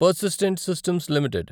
persistent systems limited